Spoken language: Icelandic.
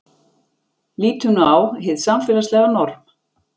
Lítum nú á hið samfélagslega norm.